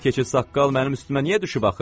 Bu keçəl saqqal mənim üstümə niyə düşüb axı?